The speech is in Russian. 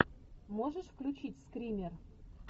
можешь включить скример